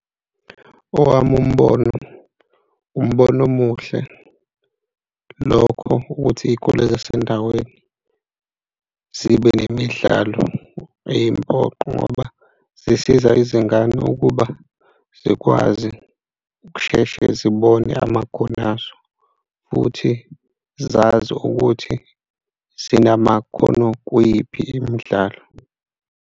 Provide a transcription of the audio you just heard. Owami umbono umbono omuhle lokho, ukuthi iy'kole zasendaweni zibe nemidlalo eyimpoqo ngoba zisiza izingane ukuba zikwazi ukusheshe, zibone amakhono azo futhi zazi ukuthi sinamakhono kwiyiphi imidlalo.